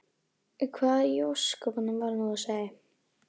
Hvað í ósköpunum var nú á seyði?